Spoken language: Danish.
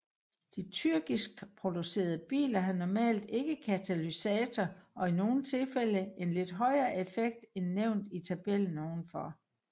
De tyrkiskproducerede biler har normalt ikke katalysator og i nogle tilfælde en lidt højere effekt end nævnt i tabellen ovenfor